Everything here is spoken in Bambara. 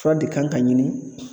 Fura de kan ka ɲini.